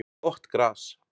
Gott gras